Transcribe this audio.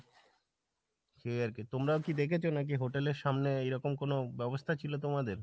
সেই আরকি তোমরাও কি দেখেছো নাকি hotel এর সামনে এই রকম কোনো ব্যাবস্থা ছিল তোমাদের ?